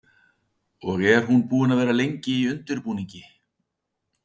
Kristjana: Og er hún búin að vera lengi í undirbúningi?